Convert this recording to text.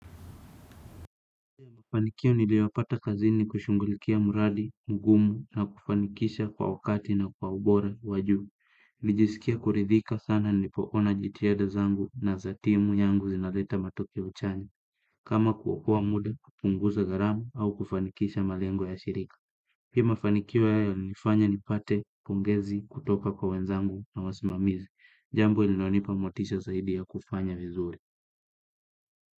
Mafanikio niliyopata kazini ni kushughulikia mradi, mgumu na kufanikisha kwa wakati na kwa ubora wa juu. Nijisikie kuridhika sana nilipoona jitihada zangu na za timu yangu zinaleta matokeo chanya. Kama kuokoa muda, kupunguza gharama au kufanikisha malengo ya shirika. Pia mafanikio haya yalinifanya nipate, pongezi, kutoka kwa wenzangu na wasimamizi. Jambo lilinonipa motisha zaidi ya kufanya vizuri.